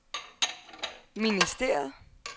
ministeriet